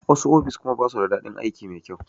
Wasu ofis kuma basu da daɗin aiki mai kyau.